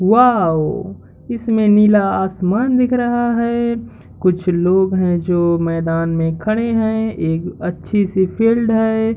Wow इसमे नीला आसमान दिख रहा है कुछ लोग हैं जो मैंदान मैं खड़े हैं एक अच्छा सी फील्ड है।